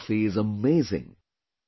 This coffee is amazing